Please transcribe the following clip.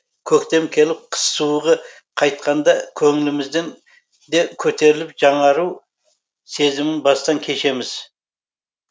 көктем келіп қыс суығы қайтқанда көңілімізден де көтеріліп жаңару сезімін бастан кешеміз